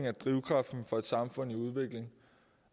er drivkraften for et samfund i udvikling